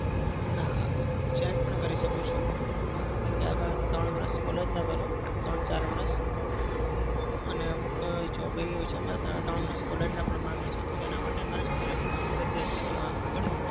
ના change પણ કરી શકું છું. કેમ કે આગળ ત્રણ વરસ college ના કરું. ત્રણ-ચાર વરસ. અને અમુક job એવી હોય છે ત્રણ વરસ college ના પણ માંગે છે તો તેના માટે મારે college ફરજીયાત છે તો આગળ